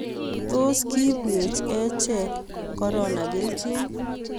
tos kiibwech achek korona keljin?